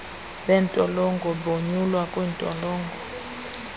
beentolongo bonyulwa kwiintolongo